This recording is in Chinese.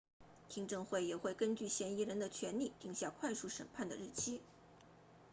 听证会也会根据嫌疑人的权利定下快速审判的日期